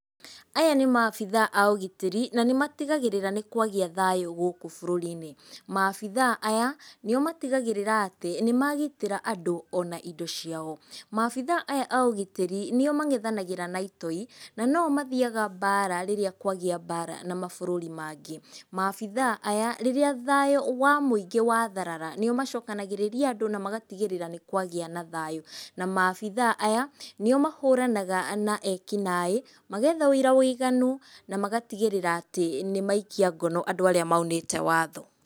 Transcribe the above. Aya nĩ maabithaa a ũgitĩri, na nĩmatigagĩrĩra nĩ kwagĩa thayũ gũkũ bũrũri-inĩ. Maabithaa aya nĩo matigagĩrĩra atĩ nĩmagitĩra andũ ona indo ciao. Maabithaa aya a ũgitĩri, nĩo mang’ethanagĩra na itoi na noo mathiaga mbara rĩrĩa kwagĩa mbara na mabũrũri mangĩ. Maabithaa aya, rĩrĩa thayũ wa mũingĩ watharara nĩo macokanagĩrĩria andũ na magatigĩrĩra nĩkwagĩa na thayũ. Na maabithaa aya nĩo mahũranaga na ekinaĩ, magetha ũira mũiganu na magatigĩrĩra atĩ nĩmaikia ngono andũ arĩa maunĩte watho.